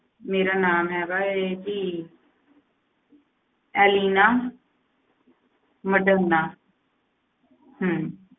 ਮੇਰਾ ਨਾਮ ਹੈਗਾ ਹੈ ਜੀ ਐਲੀਨਾ ਮਡੋਨਾ ਹਮ